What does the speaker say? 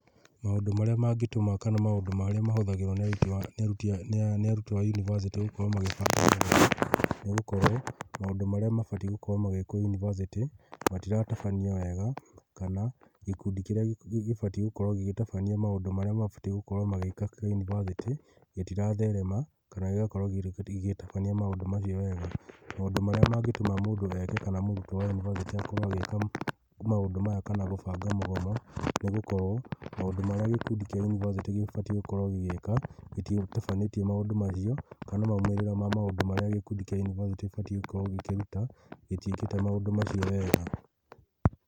Maũndũ marĩa mangĩtũma kana maũndũ marĩa mahũthagĩrwo nĩ arutwo a yunivasĩtĩ gũkorwo magĩbanga mũgomo nĩ gũkorwo maũndũ marĩa mabatiĩ gũkorwo magĩkwo yunivasĩtĩ matiratabanio wega, kana gĩkundi kĩrĩa gĩbatiĩ gũkorwo gĩgĩtabania maũndũ marĩa mabatiĩ gũkorwo magĩka kĩa yunivasĩtĩ gĩtiratherema kana gĩgakorwo gĩgĩtabania maũndũ macio wega. Maũndũ marĩa mangĩtũma mũndũ eke kana mũrutwo wa yunivasĩtĩ akorwo agĩka maũndũ maya kana gũbanga mũgomo nĩ gũkorwo maũndũ marĩa gĩkundi kĩa yunivasĩtĩ gĩbatiĩ gũkorwo gĩgĩka, gĩtitabanĩtie maũndũ macio kana maumĩrĩrama maũndũ marĩa gĩkundi kĩa yunivasĩtĩ gĩbatiĩ gũkorwo gĩkĩruta gĩtiĩkĩte maũndũ macio wega.